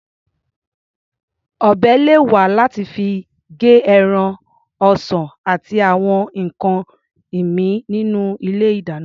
Ọ̀bẹ lè wà láti fi gé ẹran, ọsàn àti àwọn nǹkan ìmíì nínú ilé-ìdáná.